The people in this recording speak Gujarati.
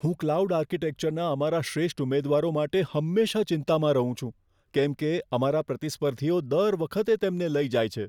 હું ક્લાઉડ આર્કિટેક્ચર ના અમારા શ્રેષ્ઠ ઉમેદવારો માટે હંમેશાં ચિંતામાં રહું છું. કેમ કે, અમારા પ્રતિસ્પર્ધીઓ દર વખતે તેમને લઈ જાય છે.